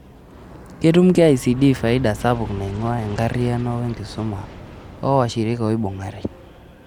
Ktum KICD faida sapuk naing'ua enkariyano wenkisuma oowashirika oibung'are.